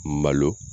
Malo